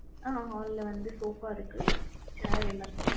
ஆஹ் Hall ல வந்து soffa இருக்கு chair எல்லாமே